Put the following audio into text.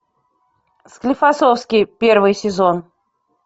склифосовский первый сезон